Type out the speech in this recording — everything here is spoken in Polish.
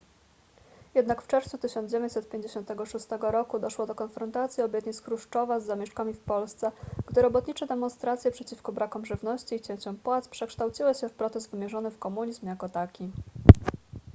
jednak w czerwcu 1956 roku doszło do konfrontacji obietnic chruszczowa z zamieszkami w polsce gdy robotnicze demonstracje przeciwko brakom żywności i cięciom płac przekształciły się w protest wymierzony w komunizm jako taki